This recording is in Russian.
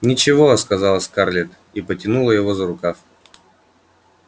ничего сказала скарлетт и потянула его за рукав